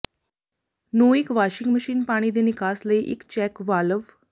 ਨੂੰ ਇੱਕ washing machine ਪਾਣੀ ਦੇ ਨਿਕਾਸ ਲਈ ਇੱਕ ਚੈਕ ਵਾਲਵ